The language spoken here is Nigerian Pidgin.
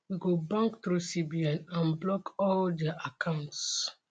we go bank through cbn and block all dia accounts